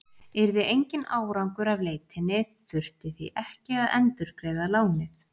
Yrði enginn árangur af leitinni þurfti því ekki að endurgreiða lánið.